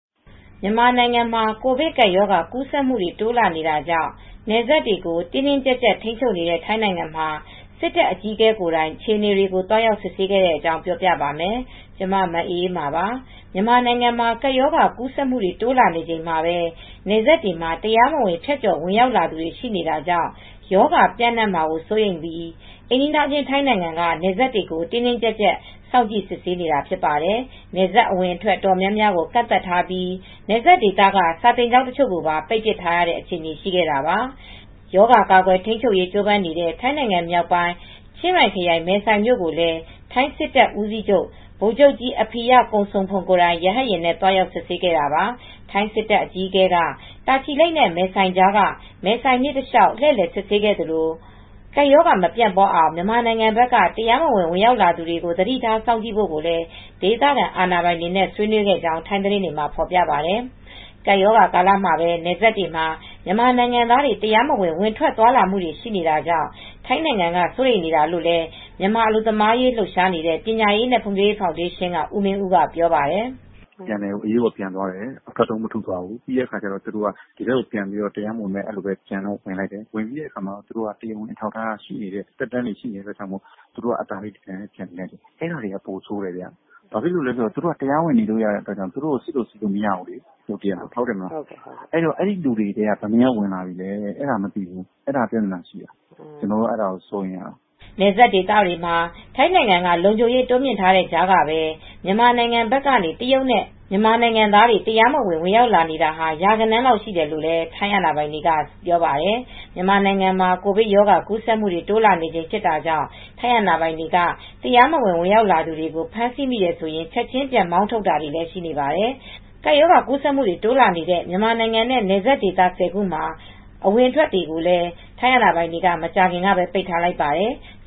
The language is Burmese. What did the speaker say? မြန်မာနိုင်ငံမှာ ကိုဗစ်ကပ်ရောဂါ ကူးစက်မှုတွေ တိုးလာနေတာကြောင့် နယ်စပ်တွေကို တင်းတင်းကြပ်ကြပ် ထိန်းချုပ်နေတဲ့ ထိုင်းနိုင်ငံမှာ စစ်တပ်အကြီးအကဲ ကိုယ်တိုင် အခြေအနေတွေကို သွားရောက် စစ်ဆေးခဲ့တဲ့အကြောင်း ပြောပြပါမယ်။ ဗွီအိုအေမြန်မာပိုင်းသတင်းထောက် မအေးအေးမာက ထိုင်းမြန်မာနယ်စပ်ကနေ သတင်းပေးပို့ထားပါတယ်။ မြန်မာနိုင်ငံမှာ ကပ်ရောဂါကူးစက်မှုတွေ တိုးလာနေချိန်မှာပဲ နယ်စပ်တွေမှာ တရားမဝင် ဖြတ်ကျော် ဝင်ရောက်သူတွေ ရှိနေတာကြောင့် ရောဂါပျံ့နှံ့မှာ စိုးရိမ်တာကြောင့် အိမ်နီးချင်းထိုင်းနိုင်ငံက နယ်စပ်တွေကို တင်းတင်းကြပ်ကြပ် စောင့်ကြည့်စစ်ဆေးနေတာ ဖြစ်ပါတယ်။ နယ်စပ်အဝင်အထွက် တော်တော်များများကို ကန့်သတ်ထားပြီး နယ်စပ်ဒေသက စာသင်ကျောင်းတချို့ကိုပါ ပိတ်ထားတဲ့အထိရှိခဲ့တာပါ။ ရောဂါကာကွယ်ထိန်းချုပ်ရေး ကြိုးပမ်းနေတဲ့ ထိုင်းနိုင်ငံ မြောက်ပိုင်း ချင်းရိုင်ခရိုင် မဲဆိုယ်မြို့ကိုလည်း ထိုင်းစစ်တပ်ဦးစီးချုပ်ဗိုလ်ချုပ်ကြီး Apirat Kongsompong မနေ့ကပဲ ရဟတ်ယာဉ်နဲ့ သွားရောက် စစ်ဆေးခဲ့တာပါ။ ထိုင်းစစ်တပ်အကြီးအကဲက တာချီလိတ်မဲဆိုယ် နယ်ကြားက မယ်ဆိုင်မြစ်တလျှောက် လှည့်လည် စစ်ဆေးခဲ့သလို ကပ်ရောဂါ မပြန့်ပွားအောင် မြန်မာနိုင်ငံဘက်က တရားမဝင် ဝင်ရောက်လာမယ့်သူတွေကို သတိထားစောင့်ကြည့်ဖို့လည်း ဒေသခံအာဏာပိုင်တွေနဲ့ ဆွေးနွေးခဲ့ကြောင်း ထိုင်းသတင်းတွေမှာ ဖော်ပြပါတယ်။ ကပ်ရောဂါ ကာလမှာပဲ နယ်စပ်တွေမှာ မြန်မာနိုင်ငံသားတွေ တရားမဝင် ဝင်ထွက်သွားလာမှုတွေ ရှိနေတာကြောင့် ထိုင်းနိုင်ငံက စိုးရိမ်နေတာလို့လည်း မြန်မာအလုပ်သမားရေး လှုပ်ရှားနေတဲ့ ပညာရေးနဲ့ ဖွံဖြိုးရေးဖောင်ဒေးရှင်းက ဦးမင်းဦးက ပြောပါတယ်။ "မြန်မာပြည်ကို အရေးပေါ်ပြန်သွားတယ်။ အထွက်တုံး မထုသွားဘူး။ ပြီးတဲ့အခါကျတော့ သူတို့က ဒီထဲကိုပဲ ပြန်ပြီးတော့ တရားမဝင် အဲ့ဒီလိုပဲ ပြန်တော့ ပြန်လိုက်တယ်။ ပြီးတဲ့အခါမှာ သူတို့က တရားဝင်အထောက်အထားက ရှိနေတဲ့အခါကျတော့ သူတို့က အသာလေး ဒီတိုင်းပဲ ပြန်နေလိုက်တယ်။ အဲ့ဒါက ပိုစိုးတယ်ဗျ။ ဘာဖြစ်လို့လည်းဆိုတော့ သူတို့က တရားဝင်နေလို့ရတဲ့အတွက်ကြောင့် သူတို့ကို စစ်လို့ ဆေးလို့ မရဘူးလေ။ ဆိုတော့ အဲဒီလူတွေထဲက ဘယ်နှစ်ယောက်လောက် ဝင်ထွက်လာနေလဲဆိုတာ မသိဘူး။ အဲဒါကပြဿနာရှိတာ။ ကျနော်က အဲဒါကိုစိုးရိမ်နေရတာ။" နယ်စပ်ဒေသတွေမှာ ထိုင်းနိုင်ငံက လုံခြုံရေးတိုးမြှင့်ထားတဲ့ကြားကပဲ မြန်မာနိုင်ငံဘက်ကနေ တရုတ်နဲ့ မြန်မာနိုင်ငံသားတွေ တရားမဝင် ဝင်ရောက်နေတာ ရာဂဏန်း ရှိတယ်လို့လည်း ထိုင်းအာဏာပိုင်တွေက ပြောပါတယ်။ မြန်မာနိုင်ငံမှာ ကိုဗစ်ရောဂါ ကူးစက်မှုတွေ တိုးလာနေချိန်ဖြစ်တာကြောင့် ထိုင်းအာဏာပိုင်တွေက တရားမဝင် ဝင်ရောက်လာသူတွေကို ဖမ်းဆီးမိတယ်ဆိုရင် ချက်ခြင်းပြန်မောင်းထုတ်တာတွေလည်း ရှိနေပါတယ်။ ကပ်ရောဂါကူးစက်မှုတွေ တိုးလာနေတဲ့ မြန်မာနိုင်ငံနဲ့ နယ်စပ်ဒေသ ၁၀ ခုမှာ အဝင်အထွက်တွေကိုလည်း ထိုင်းနိုင်ငံက မကြာသေးခင်ကပဲ ပိတ်ထားလိုက်ပါတယ်။